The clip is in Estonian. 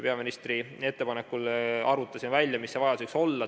Peaministri ettepanekul arvutasime välja, mis see vajadus võiks olla.